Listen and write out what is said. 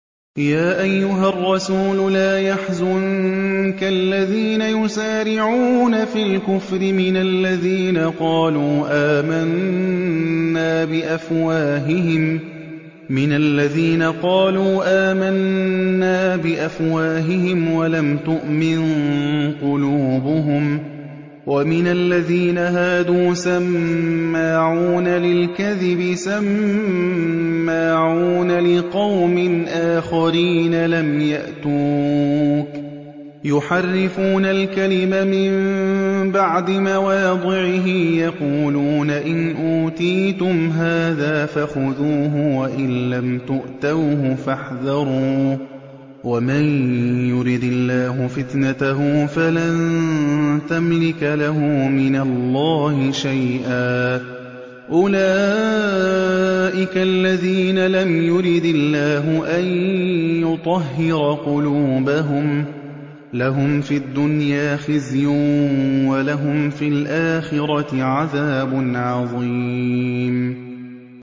۞ يَا أَيُّهَا الرَّسُولُ لَا يَحْزُنكَ الَّذِينَ يُسَارِعُونَ فِي الْكُفْرِ مِنَ الَّذِينَ قَالُوا آمَنَّا بِأَفْوَاهِهِمْ وَلَمْ تُؤْمِن قُلُوبُهُمْ ۛ وَمِنَ الَّذِينَ هَادُوا ۛ سَمَّاعُونَ لِلْكَذِبِ سَمَّاعُونَ لِقَوْمٍ آخَرِينَ لَمْ يَأْتُوكَ ۖ يُحَرِّفُونَ الْكَلِمَ مِن بَعْدِ مَوَاضِعِهِ ۖ يَقُولُونَ إِنْ أُوتِيتُمْ هَٰذَا فَخُذُوهُ وَإِن لَّمْ تُؤْتَوْهُ فَاحْذَرُوا ۚ وَمَن يُرِدِ اللَّهُ فِتْنَتَهُ فَلَن تَمْلِكَ لَهُ مِنَ اللَّهِ شَيْئًا ۚ أُولَٰئِكَ الَّذِينَ لَمْ يُرِدِ اللَّهُ أَن يُطَهِّرَ قُلُوبَهُمْ ۚ لَهُمْ فِي الدُّنْيَا خِزْيٌ ۖ وَلَهُمْ فِي الْآخِرَةِ عَذَابٌ عَظِيمٌ